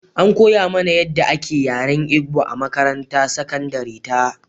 An koya mana yadda ake yaren Igbo a makarantar sakandare ta.